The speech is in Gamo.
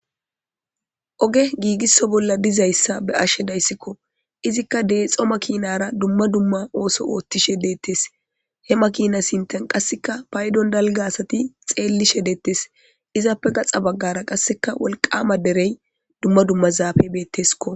Oge giigisso bolla dizayssa be7ashe dayssikko izikka deexxo makiinara dumma dumma ooso oothishe deettes he makina sinten qassika paydon dalga asati xeellishe deettes izappe gaxa baggara qassika wolqama derey dumma dumma zaafe betteskko.